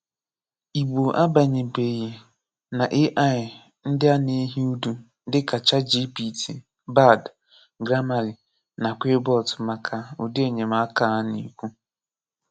Ìgbò abányèbèghị na AI ndị na-ehi ùdù dị ka ChatGPT, Bard, Grammarly, na QuillBot maka ụdị enyemaka a a na-ekwu.